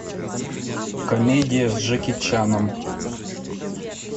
комедия с джеки чаном